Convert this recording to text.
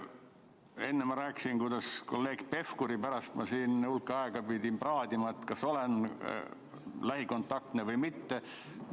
Enne ma rääkisin, kuidas ma pidin kolleeg Pevkuri pärast hulk aega praadima, kas olen lähikontaktne või mitte.